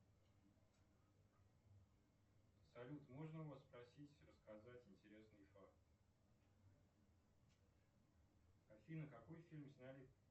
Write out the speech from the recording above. салют можно у вас спросить рассказать интересный факт афина какой фильм сняли